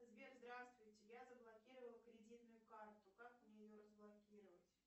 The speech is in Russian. сбер здравствуйте я заблокировала кредитную карту как мне ее разблокировать